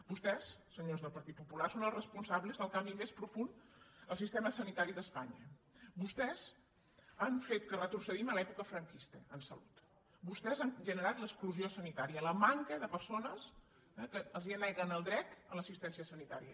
vostès senyors del partit popular són els responsables del canvi més profund al sistema sanitari d’espanya vostès han fet que retrocedim a l’època franquista en salut vostès han generat l’exclusió sanitària la manca de persones que els neguen el dret a l’assistència sanitària